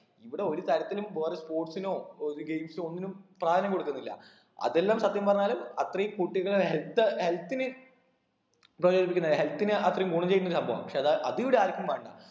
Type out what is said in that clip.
ഇവിടെ ഒരു തരത്തിനും പോവാതെ sports നോ ഒരു games ഓ ഒന്നിനും പ്രാധാന്യം കൊടുക്കുന്നില്ല അതെല്ലാം സത്യം പറഞ്ഞാല് അത്രയും കുട്ടികള് health health ന് ഉപകരിപ്പിക്കുന്നെ health ന് അത്രയും ഗുണം ചെയ്യുന്ന ഒരു സംഭവാ പക്ഷെ അത് അത് ഇവിടെ ആർക്കും വേണ്ട